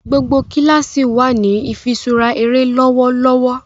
gbogbo kilasi wá ní ifiṣura eré lọwọlọwọ.